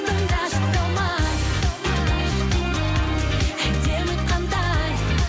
тыңдашы талмай әдемі қандай